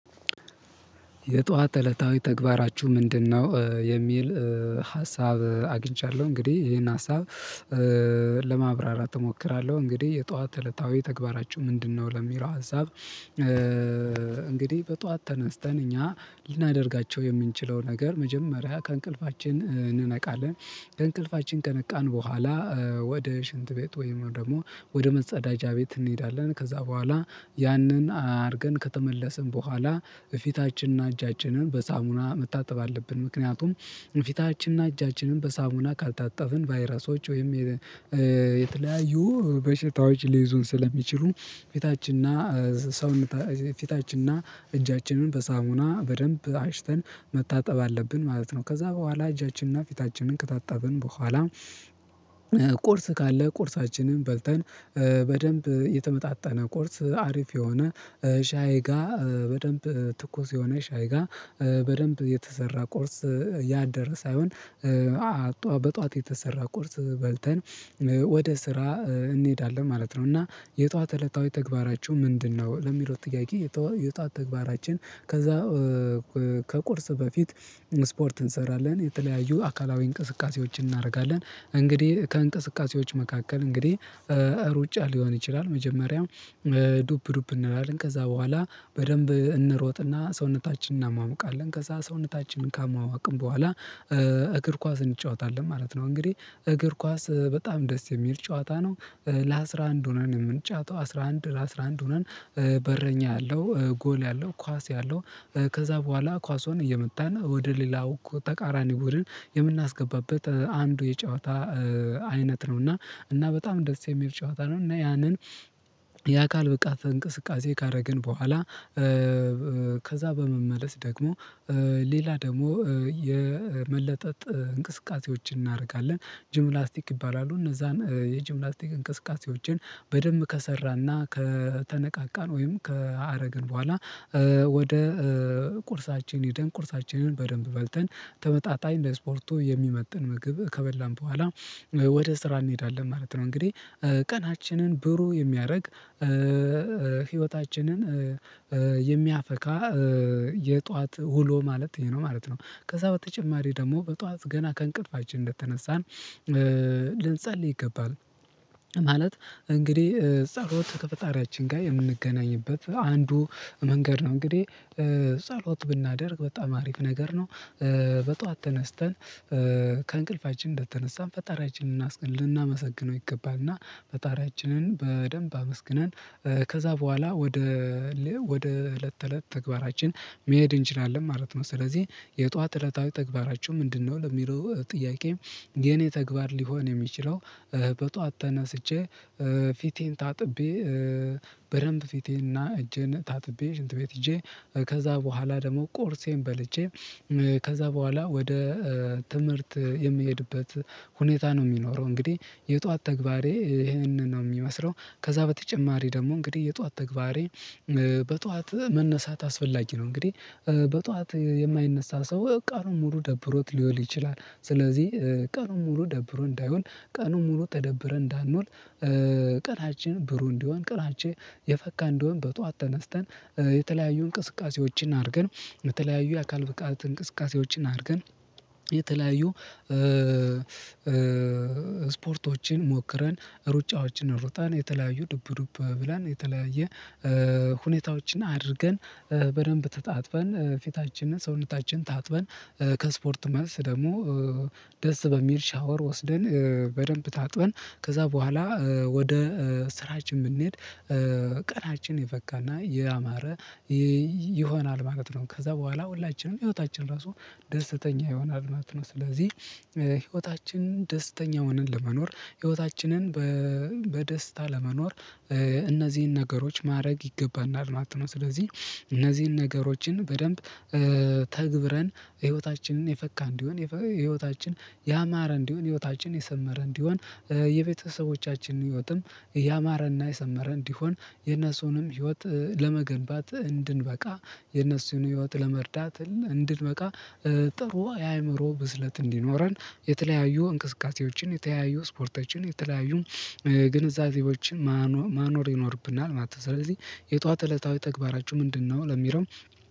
የጧት እለታዊ ተግባራችሁ ምንድነው? የሚል ሀሳብ አግኝቻለሁ እንግዲህ ይሄን ሀሳብ ለማብራራት እሞክራለሁ። እንግዲህ የጧት እለታዊ ተግባራችሁ ምንድነው ለሚለው ሀሳብ። እንግዲህ በጧት ተነስተን እኛ ልናደርጋቸው የምንችለው ነገር መጀመሪያ ከእንቅልፋችን እንነቃለን። ከእንቅልፋችን ቀነቃን በኋላ ወደ ሽንት ቤት ወይም ደግሞ ወደ መጸዳጃ ቤት እንሄዳለን። ከዛ በኋላ ያንን አርገን ከተመለስን በኋላ ፊታችንን እጃችንን በሳሙና መታጠብ አለብን። ምክንያቱም ፊታችንና እጃችንን በሳሙና ካልታጠብን ቫይረሶች ወይም የተለያዩ በሽታዎች ሊይዙን ስለሚችሉ። ፊታችንና እጃችንን በሳሙና በደንብ አሽተን መታጠብ አለብን ማለት ነው። ከዛ በኋላ እጃችንንና ፊታችንን ከታጠብን በኋላ ቁርስ ካለ ቁርሳችንን በልተን በደንብ የተመጣጠነ ቁርስ አሪፍ የሆነ ሻይጋ በደንብ ትኩስ የሆነ ሻይጋ በደንብ የተሰራ ቁርስ ያደረ ሳይሆን በጧት የተሰራ ቁርስ በልተን ወደ ስራ እንሄዳለን ማለት ነው። እና የጠዋት እለታዊ ተግባራችሁ ምንድነው? ለሚለው ለሚለው ጥያቄ የጧት ተግባራችን ከዛ ከቁርስ በፊት ስፖርት እንሰራለን የተለያዩ አካላዊ እንቅስቃሴዎችን እናደርጋለን። እንግዲህ ከእንቅስቃሴዎች መካከል እንግዲህ ሩጫ ሊሆን ይችላል። መጀመሪያው ዱፕ ዱፕ እንላለን ከዛ በኋላ በደንብ እንሮጥና ሰውነታችንን እና ሟሙቃለን ከዛ ሰውነታችንን ካሞሟቅን በኋላ እግር ኳስ እንጫወታለን ማለት ነው። እንግዲህ እግር ኳስ በጣም ደስ የሚል ጨዋታ ነው። ለአስራ አንድ ሆነን የምንጫወተው አስራ አንድ ለአስራ አንድ ሆነን በረኛ ያለው ጎል ያለው ኳስ ያለው ከዛ በኋላ ኳሱን እየመታን ወደ ሌላው ተቃራኒ ቡድን የምናስገባበት አንዱ የጨዋታ አይነት ነው። እና በጣም ደስ የሚል ጨዋታ ነው። እና ያንን የአካል ብቃት እንቅስቃሴ ካረግን በኋላ ከዛ በመመለስ ደግሞ ሌላ ደግሞ የመለጠጥ እንቅስቃሴዎችን እናደርጋለን። ጅምላስቲክ ይባላሉ እነዛን የጂምላስቲክ እንቅስቃሴዎችን በደንብ ከሰራና ከተነቃቃን ወይም ከአረግን በኋላ። ወደ ቁርሳችን ሂደን ቁርሳችንን በደንብ በልተን ተመጣጣኝ ለስፖርቱ የሚመጥን ምግብ ከበላን በኋላ ወደ ስራ እንሄዳለን ማለት ነው። እንግዲህ ቀናችንን ብሩህ የሚያደርግ ህይወታችንን የሚያፈካ የጧት ውሎ ማለት ይሄ ነው ማለት ነው። ከዛ በተጨማሪ ደግሞ በጧት ገና ከእንቅልፋችን እንደተነሳን ልንጸልይ ይገባል። ማለት እንግዲህ ጸሎት ከፈጣሪያችን ጋር የምንገናኝበት አንዱ መንገድ ነው። እንግዲህ ጸሎት ብናደርግ በጣም አሪፍ ነገር ነው። በጧት ተነስተን ከእንቅልፋችን እንደተነሳን ፈጣሪያችንን ልናመሰግነው ይገባና ፈጣሪያችንን በደንብ አመስግነን ከዛ በኋላ ወደ እለት ተእለት ተግባራችን መሄድ እንችላለን ማለት ነው። ስለዚህ የጧት እለታዊ ተግባራቸው ምንድነው? ለሚለው ጥያቄ የኔ ተግባር ሊሆን የሚችለው በጧት ተነስቼ ፊቴን ታጥቤ በደንብ ፊቴንና እጄን ታጥቤ ሽንት ቤት ሄጄ ከዛ በኋላ ደግሞ ቁርሴን በልቼ ከዛ በኋላ ወደ ትምህርት የምሄድበት ሁኔታ ነው። የሚኖረው እንግዲህ በደንብ ፊቴንና እጄን ታጥቤ ሽንት ቤት ሄጄ ከዛ በኋላ ደግሞ ቁርሴን በልቼ ከዛ በኋላ ወደ ትምህርት የምሄድበት ሁኔታ ነው የሚኖረው። እንግዲህ በጥዋት መነሳት አስፈላጊ ነው። እንግዲህ በጥዋት የማይነሳ ሰው ቀኑን ሙሉ ደብሮት ሊውል ይቺላል። ስለዚህ ቀኑን ሙሉ ደብሮት እንዳይውል ቀኑን ሙሉ ተደብርን እንዳንውል። ቀናችን ብሩ እንዲሆን ቀናችን የፈካ እንዲሆን በጧት ተነስተን የተለያዩ እንቅስቃሴዎችን አድርገን የተለያዩ የአካል ፍቃድ እንቅስቃሴዎችን አድርገን የተለያዩ ስፖርቶችን ሞክረን ሩጫዎችን ሩጣን የተለያዩ ዱብዱብ ብለን የተለያየ ሁኔታዎችን አድርገን በደንብ ተጣጥፈን ፊታችንን ሰውነታችን ታጥበን ከስፖርት መልስ ደግሞ ደስ በሚል ሻወር ወስደን በደንብ ታጥበን ከዛ በኋላ ወደ ስራችን ብንሄድ ቀናችን የፈካና ያማረ ይሆናል ማለት ነው። ከዛ በኋላ ሁላችንም ህይወታችን ራሱ ደስተኛ ይሆናል ማለት ነው። ስለዚህ ህይወታችን ደስተኛ ሆነን ለመኖር ህይወታችንን በደስታ ለመኖር እነዚህን ነገሮች ማድረግ ይገባናል ማለት ነው። ስለዚህ እነዚህን ነገሮችን በደንብ ተግብረን ህይወታችንን የፈካ እንዲሆን የህይወታችን ያማረ እንዲሆን ህይወታችን የሰመረ እንዲሆን የቤተሰቦቻችንን ህይወትም ያማረና የሰመረ እንዲሆን የነሱንም ህይወት ለመገንባት እንድንበቃ የነሱን ህይወት ለመርዳት እንድንበቃ ጥሩ የአእምሮ ብስለት እንዲኖረን የተለያዩ እንቅስቃሴዎችን የተለያዩ ስፖርቶችን የተለያዩ ግንዛቤዎችን ማኖር ይኖርብናል ማለት ነው። ስለዚህ የጧት እለታዊ ተግባራችሁ ምንድነው? ለሚለው